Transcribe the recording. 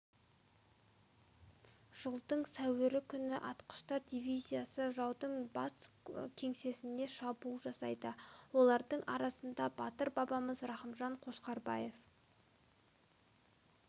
жылдың сәуірі күні атқыштар дивизиясы жаудың бас кеңсесіне шабуыл жасайды олардың арасында батыр бабамыз рақымжан қошқарбаев